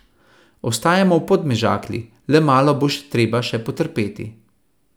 Ostajamo v Podmežakli, le malo bo treba še potrpeti.